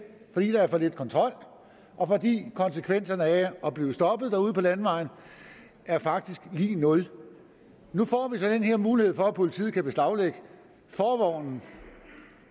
fordi der er for lidt kontrol og fordi konsekvenserne af at blive stoppet derude på landevejen faktisk er lig nul nu får vi så den her mulighed for at politiet kan beslaglægge forvognen